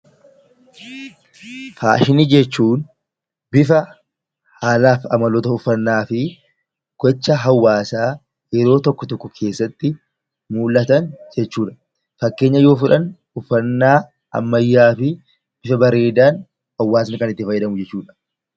Faashini jechuun bifa aadaa fi amaloota uffannaa fi gocha hawaasaa yeroo tokko tokko keessatti mul'atan jechuudha. Fakkeenya yoo fudhanne uffannaa bareedaa hawaasni bifa bareedaa ta'een itti fayyadamudha